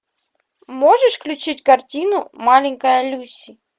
можешь включить картину маленькая люси